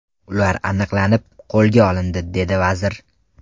Ular aniqlanib, qo‘lga olindi”, dedi vazir.